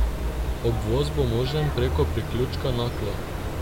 Obvoz bo možen preko priključka Naklo.